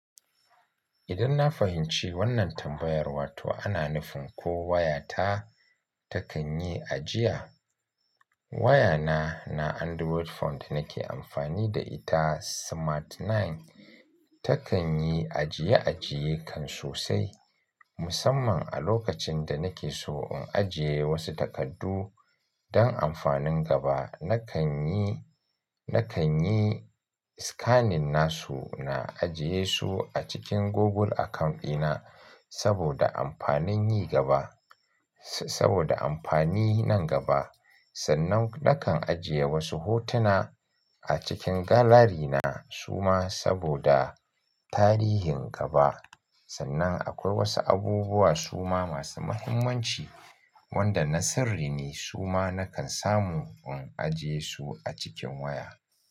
Idan na fahimci wannan tambayar, wato ana nufin ko wayata takan yi ajiya? Wayana na Android phone da nake amfani da ita Smart Nine takan yi ajiye-ajiye kan sosai. Musamman a lokacin da nake so in ajiye wasu takardu don amfanin gaba. Nakan yi, nakan yi scanning nasu na ajiye su a cikin Google account dina saboda amfanin yi gaba, saboda amfani nan gaba. Sannan nakan ajiye wasu hotuna a cikin gallery na suma saboda tarihin gaba. Sannan akwai wasu abubuwa suma masu muhimmanci wanda na sirri ne suma nakan samu in ajiye su a cikin waya.